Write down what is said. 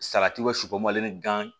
Salati wo susu mali ni gan